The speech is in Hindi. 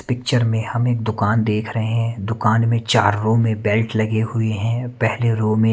पिक्चर में हम एक दुकान देख रहे हैं दुकान में चार रूम में बैड लगे हुए हैं पहले रूम में--